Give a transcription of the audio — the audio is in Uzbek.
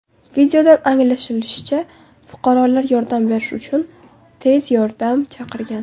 Videodan anglashilishicha, fuqarolar yordam berish uchun tez yordam chaqirgan.